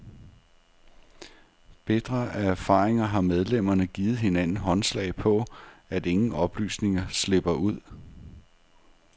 Bitre af erfaringer har medlemmerne givet hinanden håndslag på, at ingen oplysninger slipper ud.